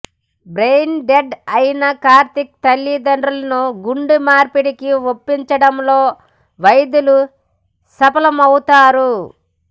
brain dead అయిన కార్తీక్ తల్లి తండ్రులను గుండె మార్పిడికి ఒప్పించడంలో వైద్యులు సఫలమవుతారు